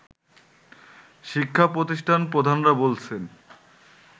শিক্ষা প্রতিষ্ঠান প্রধানরা বলছেন